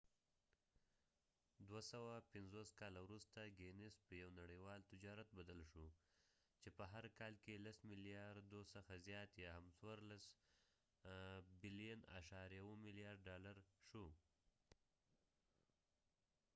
دوه سوه پنڅوس کاله وروسته ګینیس په یو نړیوال تجارت بدل شو . چې په هر کال کې لس ملیارديورو څخه زیات یا هم څوارلس اعشاریه اوو ملیارده ډالر14.7billion $us شو